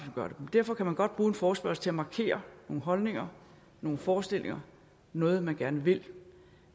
gør det derfor kan man godt bruge en forespørgsel til at markere nogle holdninger nogle forestillinger noget man gerne vil